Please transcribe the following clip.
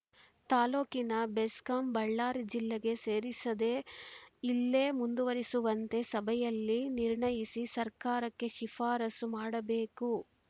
ತಾಲೋಕಿನ ಬೆಸ್ಕಾಂ ಬಳ್ಳಾರಿ ಜಿಲ್ಲೆಗೆ ಸೇರಿಸದೇ ಇಲ್ಲೇ ಮುಂದುವರಿಸುವಂತೆ ಸಭೆಯಲ್ಲಿ ನಿರ್ಣಯಿಸಿ ಸರ್ಕಾರಕ್ಕೆ ಶಿಫಾರಸು ಮಾಡಬೇಕು